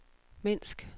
Minsk